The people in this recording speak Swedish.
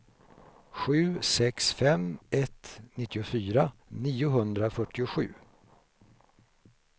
sju sex fem ett nittiofyra niohundrafyrtiosju